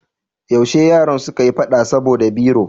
Yaushe yaran suka yi fada saboda biro?